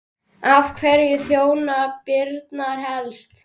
En hverjum þjónar Brynja helst?